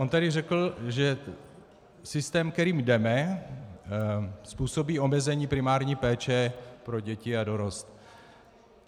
On tady řekl, že systém, kterým jdeme, způsobí omezení primární péče pro děti a dorost.